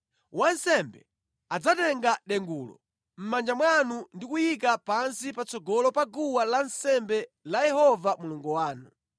Wansembe adzatenga dengulo mʼmanja mwanu ndi kuliyika pansi patsogolo pa guwa lansembe la Yehova Mulungu wanu.